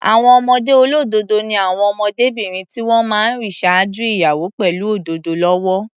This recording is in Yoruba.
Àwọn ọmọdé olódòdó ni àwọn ọmọdébìnrin tí wọ́n máa ń rìn ṣáájú ìyàwó pẹ̀lú òdòdó lọ́wọ́.